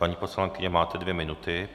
Paní poslankyně, máte dvě minuty.